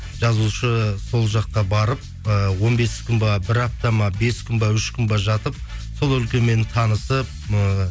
жазушы сол жаққа барып ыыы он бес күн бе бір апта ма бес күн бе үш күн бе жатып сол өлкемен танысып ыыы